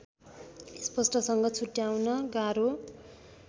स्पष्टसँग छुट्याउन गाह्रो